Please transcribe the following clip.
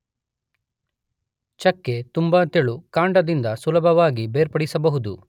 ಚಕ್ಕೆ ತುಂಬ ತೆಳು, ಕಾಂಡದಿಂದ ಸುಲಭವಾಗಿ ಬೇರ್ಪಡಿಸಬಹುದು.